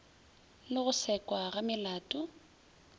le go sekwa ga melato